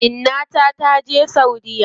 Inna ta taje saudiya.